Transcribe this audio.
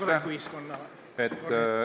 Aitäh!